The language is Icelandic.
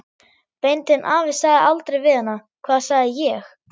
Beinteinn afi sagði aldrei við hana: Hvað sagði ég?